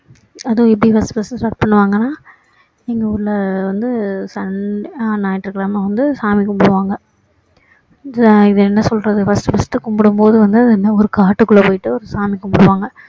அதுவும் எப்படி first first டு strat பண்ணுவாங்கன்னா அங்க ஊருல வந்து sunday ஆஹ் ஞாயிற்றுக்கிழமை வந்து சாமி கும்பிடுவாங்க இதை இதை என்ன சொல்றது first first டு கும்பிடும்போது வந்து அது என்ன ஒரு காட்டுக்குள்ள போயிட்டு ஒரு சாமி கும்பிடுவாங்க